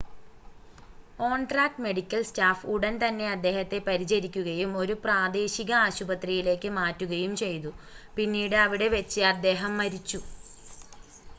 on-track medical staff ഉടൻ തന്നെ അദ്ദേഹത്തെ പരിചരിക്കുകയും ഒരു പ്രാദേശിക ആശുപത്രിയിലേക്ക് മാറ്റുകയും ചെയ്തു പിന്നീട് അവിടെ വച്ച് അദ്ദേഹം മരിച്ചു